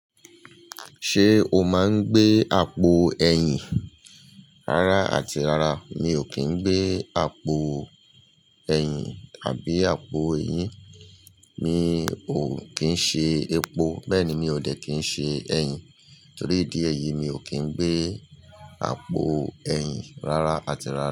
Ṣé o máa ń gbé àpò ẹ̀yìn? Rárá àti rárá, mi ò kín ń gbé àpò ẹ̀yìn àbí àpò eyín. Mi ò kín ń ṣe epo, bẹ́ẹ̀ ni mi ò dẹ̀ kín ṣe ẹ̀yìn. Torí ìdí ẹ́yi, mi ò kín ń gbé àpò ẹ̀yìn rárá àti rárá.